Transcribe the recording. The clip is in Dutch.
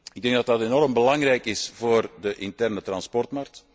Ik denk dat dat enorm belangrijk is voor de interne vervoersmarkt.